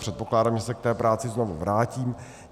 Předpokládám, že se k té práci znovu vrátím.